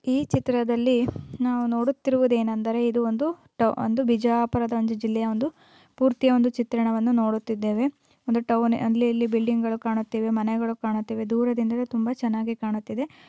ಈ ಚಿತ್ರದಲ್ಲಿ ನಾವು ನೋಡುತ್ತಿರುವುದೆನೆಂದರೆ ಇದು ಒಂದು ಟ ಒಂದು ವಿಜಯಪುರದ ಒಂದು ಜಿಲ್ಲೆಯ ಒಂದು ಪೂರ್ತಿಯ ಒಂದು ಚಿತ್ರಣವನ್ನು ನೋಡುತ್ತಿದ್ದೇವೆ ಒಂದು ಟೌನ್ ಅಲ್ಲಿ ಇಲ್ಲಿ ಬಿಲ್ಡಿಂಗ್ಗಳು ಕಾಣುತ್ತಿವೆ ಮನೆಗಳನ್ನು ಕಾಣುತ್ತಿವೆ ದೂರದಿಂದ ತುಂಬಾ ಚೆನ್ನಾಗಿ ಕಾಣುತ್ತದೆ.